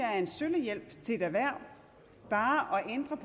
er en sølle hjælp til et erhverv bare